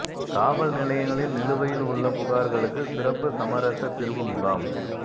காவல் நிலையங்களில் நிலுவையில் உள்ள புகாா்களுக்கு சிறப்பு சமரச தீா்வு முகாம்